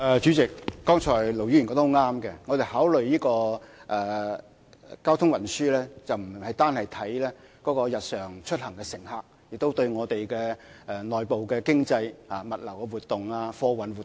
主席，剛才盧議員說得很正確，我們考慮交通運輸的時候，不只看日常出行乘客，亦要關注我們的內部經濟、物流活動及貨運活動。